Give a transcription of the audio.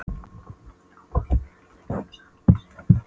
Hann var orðinn hundleiður á þessu hangsi.